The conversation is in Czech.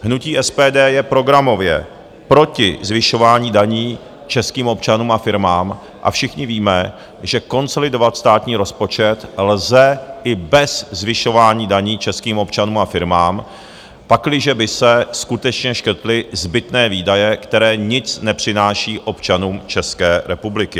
Hnutí SPD je programově proti zvyšování daní českým občanům a firmám a všichni víme, že konsolidovat státní rozpočet lze i bez zvyšování daní českým občanům a firmám, pakliže by se skutečně škrtly zbytné výdaje, které nic nepřináší občanům České republiky.